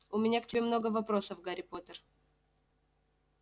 у меня к тебе много вопросов гарри поттер